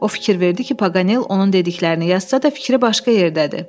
O fikir verdi ki, Pagal onun dediklərini yazsa da fikri başqa yerdədir.